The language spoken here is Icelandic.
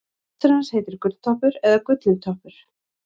hestur hans heitir gulltoppur eða gullintoppur